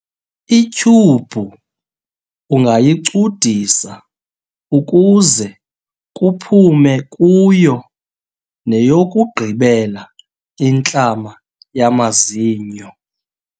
ityhubhu ungayicudisa ukuze kuphume kuyo neyokugqibela intlama yamazinyo